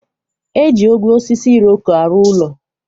E ji ogwe osisi iroko arụ ụlọ.